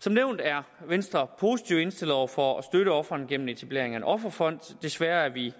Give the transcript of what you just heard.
som nævnt er venstre positivt indstillet over for at støtte ofrene gennem etablering af en offerfond desværre er vi